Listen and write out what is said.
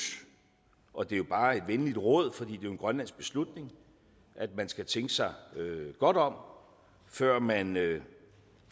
og det er jo bare et venligt råd for det er en grønlandsk beslutning at man skal tænke sig godt om før man